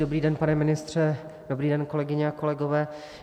Dobrý den, pane ministře, dobrý den, kolegyně a kolegové.